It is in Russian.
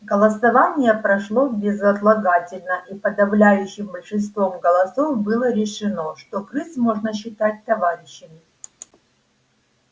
голосование прошло безотлагательно и подавляющим большинством голосов было решено что крыс можно считать товарищами